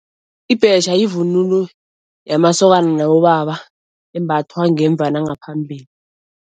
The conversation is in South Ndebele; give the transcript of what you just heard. Ibhetjha yivunulo yamasokana nabobaba, embathwa ngemva nangaphambili.